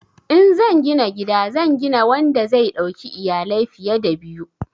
In zan gina gida zan gina wanda zai dauki iyalai fiye da biyu.